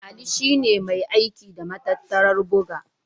Ali shi ne mai aiki da matattarar buga.